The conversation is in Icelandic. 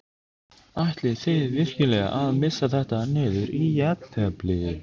Ætlið þið virkilega að missa þetta niður í jafntefli?